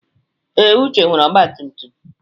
Ee, Uche nwere ọgba tum tum.